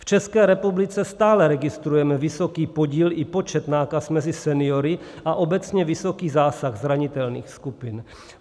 V České republice stále registrujeme vysoký podíl i počet nákaz mezi seniory a obecně vysoký zásah zranitelných skupin.